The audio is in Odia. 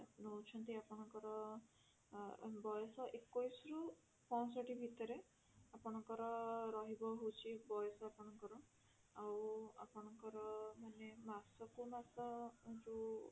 ନଉଛନ୍ତି ଆପଣଙ୍କର ଆଁ ବୟସ ଏକୋଇଶି ରୁ ପାଂଷଠି ଭିତରେ ଆପଣଙ୍କର ରହିବ ହଉଛି ବୟସ ଆପଣଙ୍କର ଆଉ ଆପଣଙ୍କର ମାନେ ମାସକୁ ମାସ ଯଉ